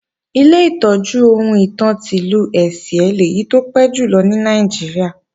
Ilé ìtọ́jú ohun ìtàn ti Ìlú Ẹ̀sìẹ́ lèyí tó ti pẹ́ jùlọ ní Nàìjíríà